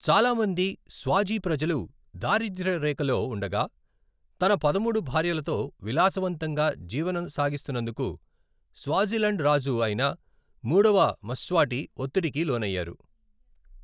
చాలా మంది స్వాజీ ప్రజలు దారిద్య్రరేఖలో ఉండగా, తన పదమూడు భార్యలతో విలాసవంతంగా జీవన సాగిస్తున్నందుకు, స్వాజిలండ్ రాజు అయిన మూడవ మ్స్వాటి ఒత్తిడికి లోనైయారు.